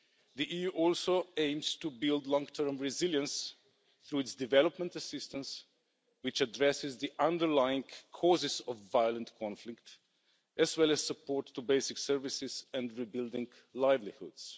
The EU also aims to build long term resilience through its development assistance, which addresses the underlying causes of violent conflict, as well as support to basic services and rebuilding livelihoods.